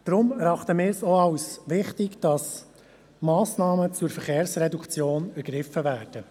Deshalb müssen Massnahmen zur Verkehrsreduktion ergriffen werden.